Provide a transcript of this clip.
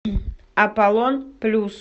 аполлон плюс